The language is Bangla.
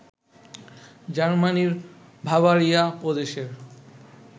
জার্মানির বাভারিয়া প্রদেশের